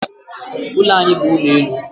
Ụlọ anyị bu ụlọelu.